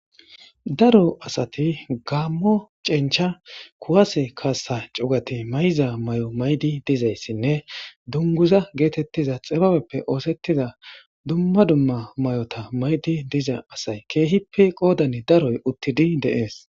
daro asati gammo cencha kuwase kaassa cugati may7iza may7o maydi dizayssinne dunguza geetettiza xibabeppe oosettiza dumma dumma may7ota maydi diza asay keehippe qoodane daroy uttidi deees